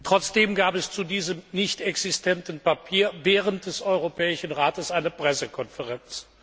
Trotzdem gab es zu diesem nichtexistenten Papier während des Europäischen Rates eine Pressekonferenz.